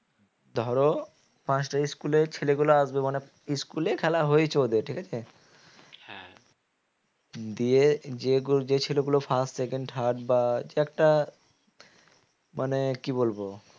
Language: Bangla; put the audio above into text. ধরো পাঁচটা school এর ছেলেগুলো আসবে মানে school এই খেলা হয়েছে ওদের ঠিক আছে দিয়ে যে ছেলেগুলো first second third বা যে একটা মানে কি বলবো